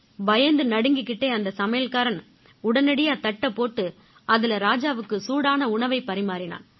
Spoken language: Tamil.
பயந்து நடுங்கிக்கிட்டே அந்த சமையல்காரன் உடனடியா தட்டைப் போட்டு அதில ராஜாவுக்கு சூடான உணவைப் பரிமாறினான்